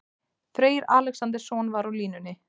Freyr Alexandersson var svo á línunni.